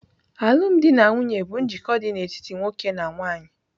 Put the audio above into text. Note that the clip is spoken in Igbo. Alụmdi na nwunye bụ njikọ dị n'etiti nwoke na nwanyị.